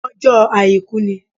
Ọjó àìkú ni